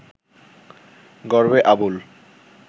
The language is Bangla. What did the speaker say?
গর্বে আবুল